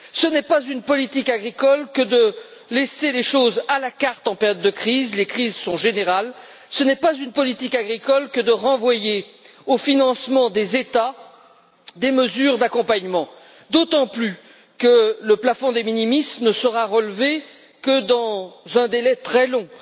Ce n'est pas une politique agricole que de laisser un choix à la carte en période de crise, car les crises sont générales ce n'est pas une politique agricole que de reporter sur les États la charge de financer des mesures d'accompagnement, d'autant plus que le plafond de minimis ne sera relevé que dans un délai très long.